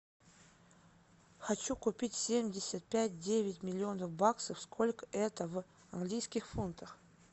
хочу купить семьдесят пять девять миллионов баксов сколько это в английских фунтах